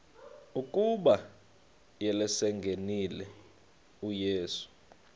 ukuba selengenile uyesu